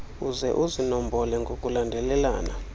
uze uzinombole ngokulandelelana